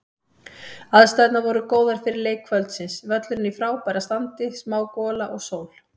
Aðstæðurnar voru góðar fyrir leik kvöldsins, völlurinn í frábæra standi, smá gola og sól.